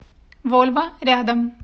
вольво рядом